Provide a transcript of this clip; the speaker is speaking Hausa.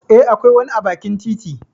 Eh, akwai wani a bakin titi.